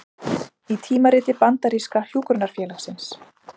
Í tímariti bandaríska hjúkrunarfélagsins